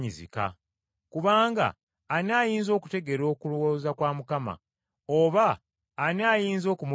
“Kubanga ani ayinza okutegeera okulowooza kwa Mukama? Oba ani ayinza okumuluŋŋamya?”